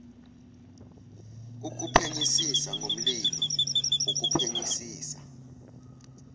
ukuphenyisisa ngomlilo ukuphenyisisa